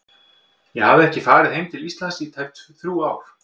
Ég hafði ekki farið heim til Íslands í tæp þrjú ár.